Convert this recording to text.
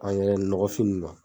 nɔgɔfin ninnu ma.